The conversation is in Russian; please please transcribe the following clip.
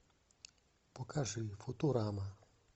покажи футурама